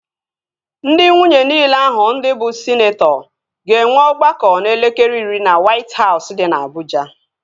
Ndị nwunye niile ahụ ndị bụ sịneetọ ga-enwe ọgbakọ n'elekere iri na Wait Hausụ dị na Abụja